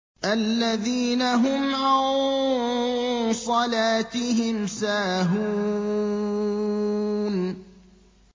الَّذِينَ هُمْ عَن صَلَاتِهِمْ سَاهُونَ